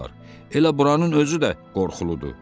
Elə buranın özü də qorxuludur.